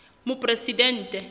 moporesidente